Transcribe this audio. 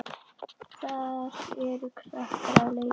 Þar eru krakkar að leika.